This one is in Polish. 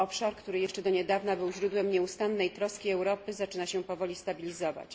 Obszar, który jeszcze do niedawna był źródłem nieustannej troski Europy, zaczyna się powoli stabilizować.